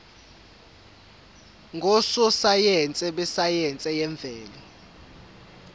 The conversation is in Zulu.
ngososayense besayense yemvelo